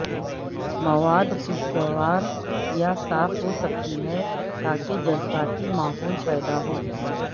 مواد خوشگوار یا صاف ہو سکتی ہے تاکہ جذباتی ماحول پیدا ہو